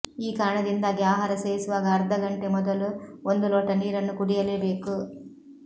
ಈ ಕಾರಣದಿಂದಾಗಿ ಆಹಾರ ಸೇವಿಸುವಾಗ ಅರ್ಧ ಗಂಟೆ ಮೊದಲು ಒಂದು ಲೋಟ ನೀರನ್ನು ಕುಡಿಯಲೇ ಬೇಕು